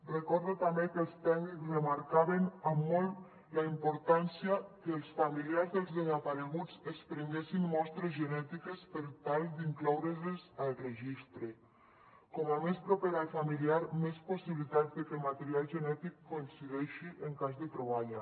recordo també que els tècnics remarcaven molt la importància que els familiars dels desapareguts es prenguessin mostres genètiques per tal d’incloure les al registre com més proper al familiar més possibilitats que el material genètic coincideixi en cas de troballa